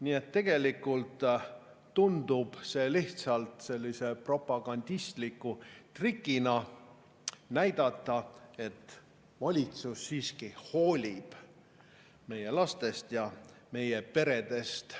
Nii et tegelikult tundub see lihtsalt sellise propagandistliku trikina, et näidata: valitsus siiski hoolib meie lastest ja meie peredest.